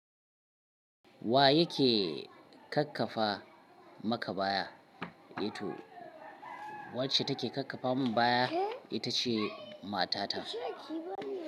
Wa yake kakkafa maka baya? Wacce take kakkafa min baya, ita ce matata.